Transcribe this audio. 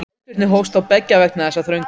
Eldvirkni hófst þá beggja vegna þess þrönga